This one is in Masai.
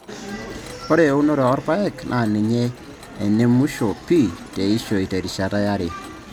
Ore eunore oo rpayek naa ninye enemushoo pii teishoi terishata yare.